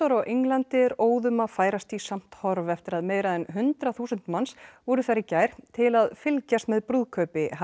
á Englandi er óðum að færast í samt horf eftir að meira en hundrað þúsund manns voru þar í gær til að fylgjast með brúðkaupi